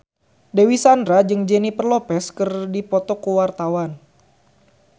Dewi Sandra jeung Jennifer Lopez keur dipoto ku wartawan